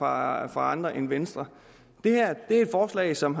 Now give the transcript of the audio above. andre end venstre det her er et forslag som